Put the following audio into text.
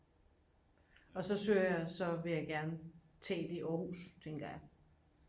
og så søger jeg så vil jeg gerne tage ind i aarhus tænker jeg